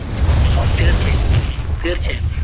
തീർച്ചയായും തീർച്ചയായും.